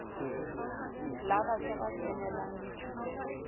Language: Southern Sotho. la batjha ba kenelang dithupelo